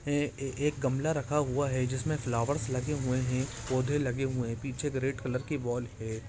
एक गमला रखा हुआ है जिसमे फ्लावर्स लगे हुए है पौधे लगे हुए है पीछे रेड कलर की वाल है।